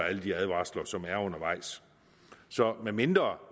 alle de advarsler som er undervejs medmindre